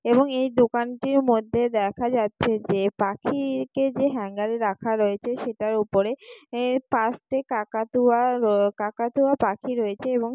এবং এই দোকানটির মধ্যে দেখা যাচ্ছে যে পাখি-ই কে যে হ্যাঙ্গারে রাখা রয়েছে সেটার উপরে আ পাঁচটি কাকাতুয়া আহ কাকাতুয়া পাখি রয়েছে এবং --